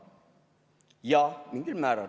Jah, mingil määral.